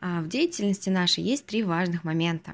а в деятельности нашей есть три важных момента